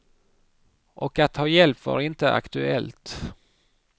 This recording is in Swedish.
Och att ta hjälp var inte aktuellt.